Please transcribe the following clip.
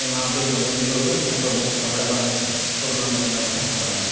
यम्मा आप देख सक्दो की लोग अपर मुख फर कपड़ा बांधिक कोरोना बचना बाणी खड़ा होयां।